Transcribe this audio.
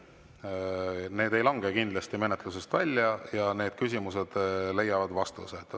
Need ei lange kindlasti menetlusest välja ja need küsimused leiavad vastuse.